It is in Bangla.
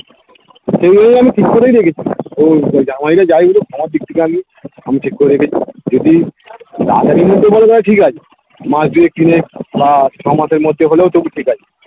সেজন্য আমি ঠিক করেই রেখেছি ওই তো জামাই রে যাই বলুক আমার দিক থেকে আমি আমি ঠিক করেই রেখেছি যদি তাড়াতাড়ির মধ্যে বলে দেয় ঠিক আছে মাস দুয়েক তিনেক বা ছ মাসের মধ্যে হলেও তবু ঠিক আছে